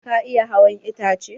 Ka iya hawan itace?